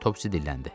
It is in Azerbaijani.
Topsi dilləndi.